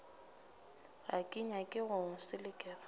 ga ke nyake go selekega